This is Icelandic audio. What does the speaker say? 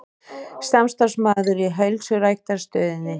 Samstarfsmaður í heilsuræktarstöðinni.